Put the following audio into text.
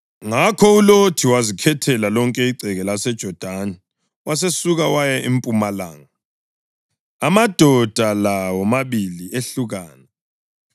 Ngakho uLothi wazikhethela lonke igceke laseJodani, wasesuka waya empumalanga. Amadoda la womabili ehlukana: